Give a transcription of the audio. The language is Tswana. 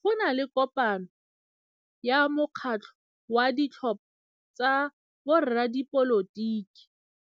Go na le kopanô ya mokgatlhô wa ditlhopha tsa boradipolotiki.